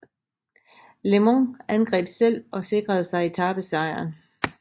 LeMond angreb selv og sikrede sig etapesejren